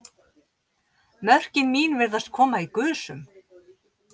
Mörkin mín virðast koma í gusum.